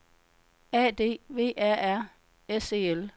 A D V A R S E L